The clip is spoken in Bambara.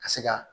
Ka se ka